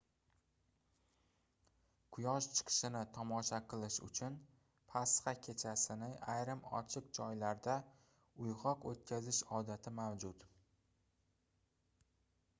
quyosh chiqishini tomosha qilish uchun pasxa kechasini ayrim ochiq joylarda uygʻoq oʻtkazish odati mavjud